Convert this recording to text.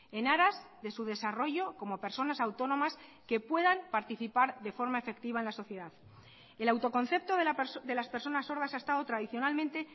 en aras de su desarrollo como personas autónomas que puedan participar de forma efectiva en la sociedad el autoconcepto de las personas sordas ha estado tradicionalmente